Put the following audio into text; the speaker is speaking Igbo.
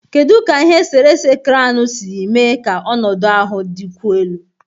Kedu ka ihe esere ese kranu si mee ka ọnọdụ ahụ dịkwuo elu?